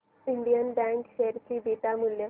Indian bank share चे beta मूल्य